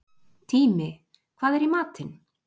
Tími, hvað er í matinn?